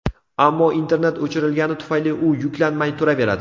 Ammo internet o‘chirilgani tufayli, u yuklanmay turaveradi.